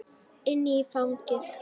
Inn í fangið.